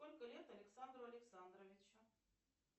сколько лет александру александровичу